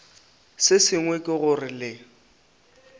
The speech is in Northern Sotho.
se sengwe ke gore le